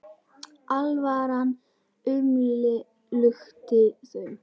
Alvaran umlukti þau.